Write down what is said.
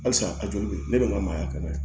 Halisa a joli bɛ ne de ka maaya ka kɛnɛ